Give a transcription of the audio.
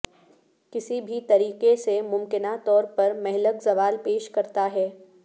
کسی بھی طریقے سے ممکنہ طور پر مہلک زوال پیش کرتا ہے